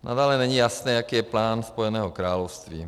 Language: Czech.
Nadále není jasné, jaký je plán Spojeného království.